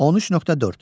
13.4.